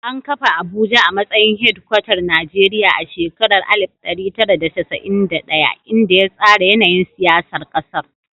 An kafa Abuja a matsayin hedkwatar Najeriya a shekarar 1991, inda ya tsara yanayin siyasar ƙasar.